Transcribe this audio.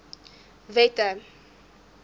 wette